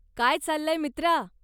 काय चाललंय मित्रा?